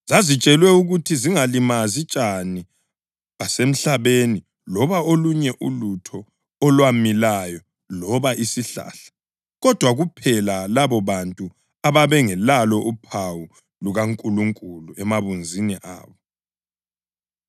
Zazitshelwe ukuthi zingalimazi tshani basemhlabeni loba olunye ulutho olwamilayo loba isihlahla, kodwa kuphela labobantu ababengelalo uphawu lukaNkulunkulu emabunzini abo.